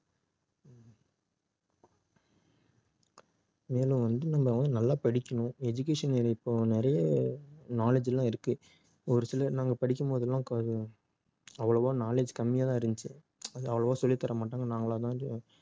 நல்லா படிக்கணும் education ல இப்போ நிறைய knowledge எல்லாம் இருக்கு ஒரு சிலர் நம்ம படிக்கும் போதெல்லாம் கா~ அவ்வளவோ knowledge கம்மியா தான் இருந்துச்சு அது அவ்வளவா சொல்லி தர மாட்டாங்க நாங்களா தான் டி~